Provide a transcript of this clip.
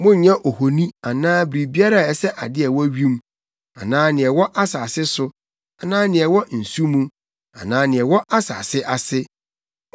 Monnyɛ ohoni anaa biribiara a ɛsɛ ade a ɛwɔ wim, anaa nea ɛwɔ asase so, anaa nea ɛwɔ nsu mu, anaa nea ɛwɔ asase ase.